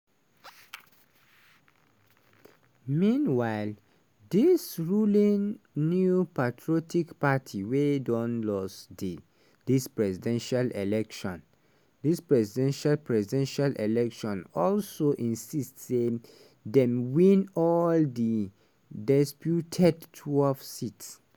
meanwhile di ruling new patriotic party wey don lose dis presidential election presidential presidential election also insist say dem win all di disputed 12